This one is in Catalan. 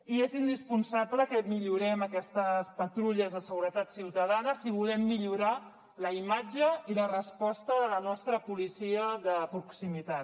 i és indispensable que millorem aquestes patrulles de seguretat ciutadana si volem millorar la imatge i la resposta de la nostra policia de proximitat